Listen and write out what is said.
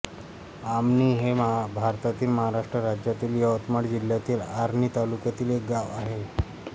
आमणी हे भारतातील महाराष्ट्र राज्यातील यवतमाळ जिल्ह्यातील आर्णी तालुक्यातील एक गाव आहे